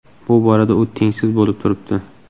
Bu borada u tengsiz bo‘lib turibdi.